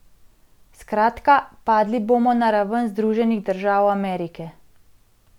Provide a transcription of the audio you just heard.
Skratka, padli bomo na raven Združenih držav Amerike.